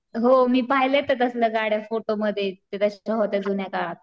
हो मी पाहिलंय त्या तसल्या गाड्या फोटोमध्ये ते होत्या जुन्या काळात.